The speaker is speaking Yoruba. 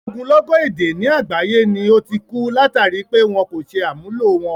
Ogúnlọ́gọ̀ èdè ni àgbáyé ni ó ti ku, látàri pé wọn kò ṣe àmúlò wọn.